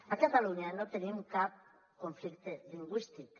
a catalunya no tenim cap conflicte lingüístic